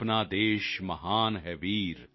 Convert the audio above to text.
ਆਪਣਾ ਦੇਸ਼ ਮਹਾਨ ਹੈ ਵੀਰ